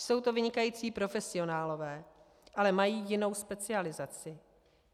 Jsou to vynikající profesionálové, ale mají jinou specializaci.